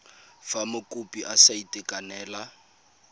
fa mokopi a sa itekanela